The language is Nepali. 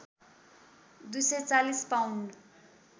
२४० पाउन्ड